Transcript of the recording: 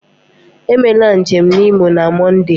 Emela njem na Imo na Mọnde!